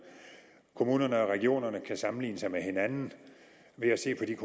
kommunerne og regionerne kan sammenligne sig med hinanden ved at se